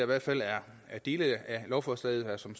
hvert fald er dele af lovforslaget som